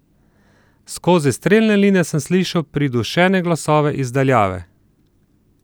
Skozi strelne line sem slišala pridušene glasove iz daljave.